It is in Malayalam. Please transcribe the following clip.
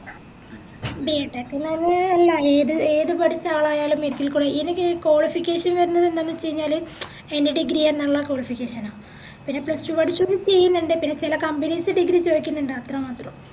B. TECH ന്ന് പറഞ്ഞാല് എല്ലാ ഏത് ഏത് പഠിച്ച ആളായാലും medical code ഇതിനി qualification ന്ന് പറഞ്ഞത് എന്താന്ന് വെച്ചയിഞ്ഞാല് any degree എന്നുള്ള qualification ആ പിന്നെ plus two പഠിച്ചവരും ചെയ്യുന്നിണ്ട് പിന്നെ ചെല companies ഉം degree ചോയ്ക്കുന്നിണ്ട്‌ അത്രമാത്രം